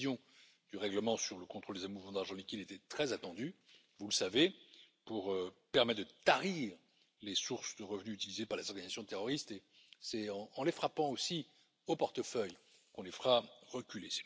La révision du règlement sur le contrôle des mouvements d'argent liquide était très attendu, vous le savez, pour permettre de tarir les sources de revenus utilisées par les organisations terroristes, et c'est en les frappant aussi au portefeuille qu'on les fera reculer.